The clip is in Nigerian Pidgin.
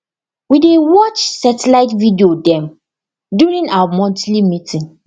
we dey watch satellite video dem during our monthly meeting